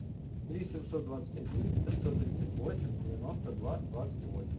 три семьсот двадцать один пятьсот тридцать восемь девяносто два двадцать восемь